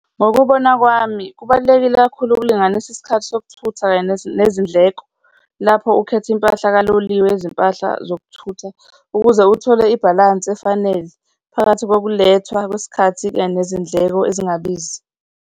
Ngokubona kwami, kubalulekile kakhulu ukulinganisa isikhathi sokuthutha kanye nezindleko lapho ukhetha impahla kaloliwe yezimpahla zokuthutha, ukuze uthole ibhalansi efanele phakathi kokulethwa kwesikhathi kanye nezindleko ezingabizi.